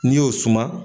N'i y'o suma